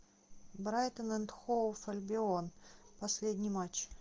брайтон энд хоув альбион последний матч